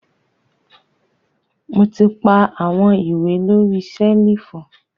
Mo ti pa awọn iwe lori selifu.